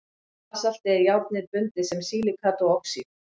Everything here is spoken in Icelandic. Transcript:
í basalti er járnið bundið sem silíkat og oxíð